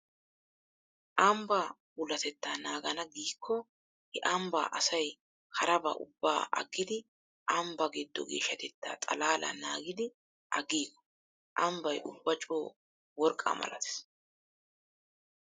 Ambbaa puulatettaa naagana giikko he ambbaa asay harabaa ubbaa aggidi ambbaa giddo geeshshatettaa xalaalaa naagidi aggiigo. Ambbay ubba coo worqqaa malatees.